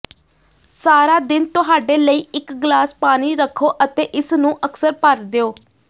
ਸਾਰਾ ਦਿਨ ਤੁਹਾਡੇ ਲਈ ਇਕ ਗਲਾਸ ਪਾਣੀ ਰੱਖੋ ਅਤੇ ਇਸ ਨੂੰ ਅਕਸਰ ਭਰ ਦਿਓ